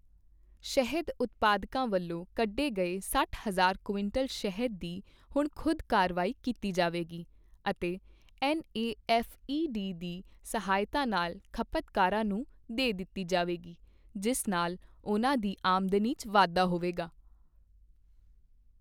ਸ਼ਹਿਦ ਉਤਪਾਦਕਾਂ ਵੱਲੋਂ ਕੱਢੇ ਗਏ ਸੱਠ ਹਜ਼ਾਰ ਕੁਇੰਟਲ ਸ਼ਹਿਦ ਦੀ ਹੁਣ ਖੁਦ ਕਾਰਵਾਈ ਕੀਤੀ ਜਾਏਗੀ ਅਤੇ ਨੇਫ਼ੇਡ ਦੀ ਸਹਾਇਤਾ ਨਾਲ ਖਪਤਕਰਵਾਂ ਨੂੰ ਦੇ ਦਿੱਤੀ ਜਾਵੇਗੀ, ਜਿਸ ਨਾਲ ਉਨਾਂ ਦੀ ਆਮਦਨੀ ਚ ਵਾਧਾ ਹੋਵੇਗਾ।